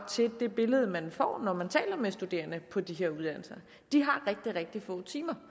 til det billede man får når man taler med de studerende på de her uddannelser de har rigtig rigtig få timer